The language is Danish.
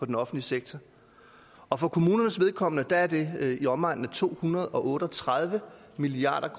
den offentlige sektor og for kommunernes vedkommende er det i omegnen af to hundrede og otte og tredive milliard